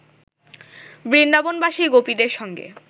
বৃন্দাবনবাসী গোপীদের সঙ্গে